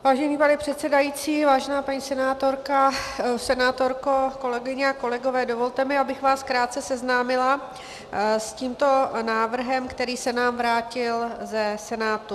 Vážený pane předsedající, vážená paní senátorko, kolegyně a kolegové, dovolte mi, abych vás krátce seznámila s tímto návrhem, který se nám vrátil ze Senátu.